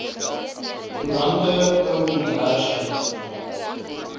koerante ou komberse